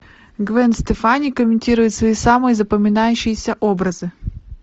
гвен стефани комментирует свои самые запоминающиеся образы